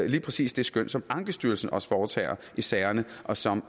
lige præcis det skøn som ankestyrelsen også foretager i sagerne og som